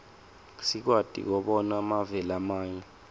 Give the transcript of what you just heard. sikwati kobona mave lamanye